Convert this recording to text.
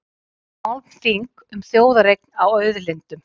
Málþing um þjóðareign á auðlindum